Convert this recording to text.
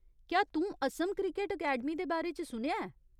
क्या तूं Assam cricket academy दे बारे च सुनेआ ऐ ?